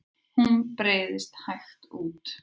Hún breiðst hægt út.